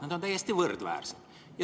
Need on täiesti võrdväärsed.